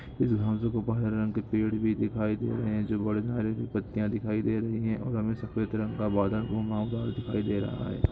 यहा पर हरा रंग के पेड़ भी दिखाई दे रहे हैं बड़े झाड़ियों की पत्तियां दिखाई दे रही है और सफेद रंग का दिखाई दे रहा है।